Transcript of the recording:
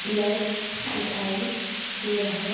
blur दिखाई दे रहा--